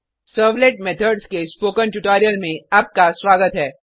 servlet methods के spoken tutorial में आपका स्वागत है